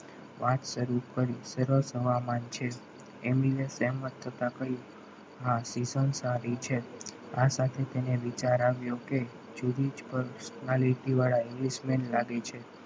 વાત શરૂ કરી સરસ હવામાન છે એમિને તેમ જ થતા કહ્યું હા season સારી છે આ સાથે તેને વિચાર આવ્યો કે જુદી જ personality વાળા English મેં લાગે છે.